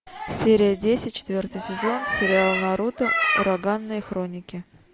серия десять четвертый сезон сериал наруто ураганные хроники